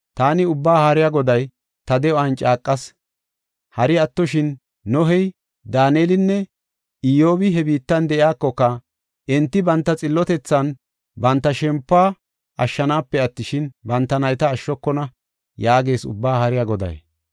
taani Ubbaa Haariya Goday ta de7uwan caaqas. Hari attoshin, Nohey, Daanelinne Iyyobi he biittan de7iyakoka, enti banta xillotethan banta shempuwa ashshanaape attishin, banta nayta ashshokona” yaagees Ubbaa Haariya Goday.